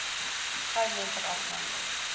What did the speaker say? gou moontlik afgehandel